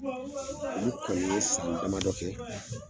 Olu kɔni ye san damadɔ kɛ